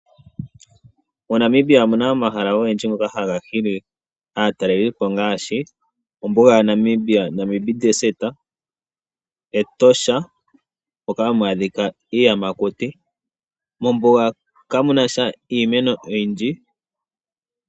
MoNamibia omuna omahala ogendji ngoka ha ga hili aatalelipo, ngaashi ombuga ya Namibia, Etosha moka ha mu adhika iiyamakuti. Mombuga ka mu nasha iimeno oyindji.